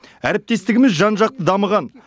әріптестігіміз жан жақты дамыған